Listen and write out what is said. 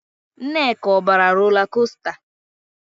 Nneka, ọ bara rola kosta?